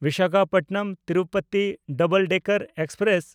ᱵᱤᱥᱟᱠᱷᱟᱯᱚᱴᱱᱚᱢ–ᱛᱤᱨᱩᱯᱚᱛᱤ double decker express